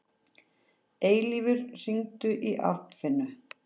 Eilífur, hringdu í Arnfinnu.